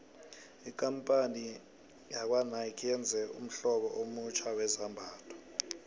ikampani yakwanike yenze ummhlobo omutjha wezambhatho